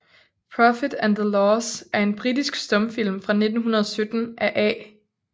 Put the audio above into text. Profit and the Loss er en britisk stumfilm fra 1917 af A